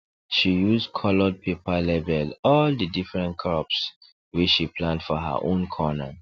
she use coloured paper label all the different crops wey she plant for her own corner